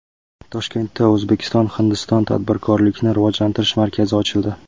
Toshkentda O‘zbekiston – Hindiston tadbirkorlikni rivojlantirish markazi ochildi.